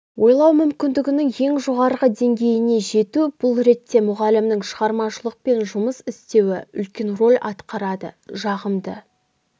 ойлау мүмкіндігінің ең жоғарғы деңгейіне жету бұл ретте мұғалімнің шығармашылықпен жұмыс істеуі үлкен рөл атқарады жағымды